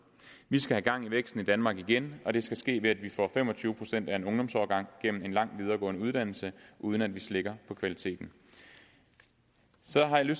vi skal have gang i væksten i danmark igen og det skal ske ved at vi får fem og tyve procent af en ungdomsårgang gennem en lang videregående uddannelse uden at vi slækker på kvaliteten så har jeg